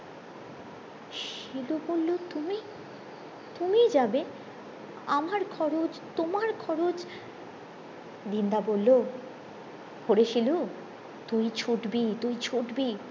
শিলু বলো তুমি তুমি যাবে আমার খরচ তোমার খরচ দিন দা বললো ওরে শিলু তুই ছুটবি তুই ছুটবি